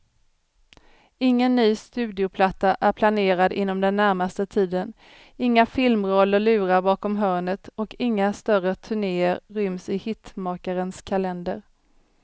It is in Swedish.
Ingen ny studioplatta är planerad inom den närmaste tiden, inga filmroller lurar bakom hörnet och inga större turnéer ryms i hitmakarens kalender.